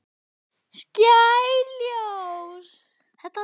Skær ljós.